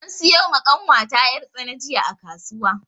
An siyo ma ƙanwata yar' tsana jiya a kasuwa.